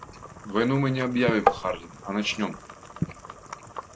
войну мы не объявим хардин а начнём